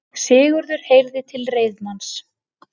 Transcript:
Sigurður heyrði til reiðmanns.